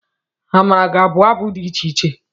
Amara ga-abụ abụ dị iche iche.